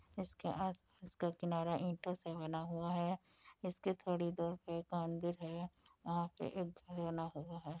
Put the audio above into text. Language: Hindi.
इसके इसका किनारा ईंटों से बना हुआ है | इसके थोड़ी दूर पे एक मंदिर है | वहाँ पे एक घर बना हुआ है।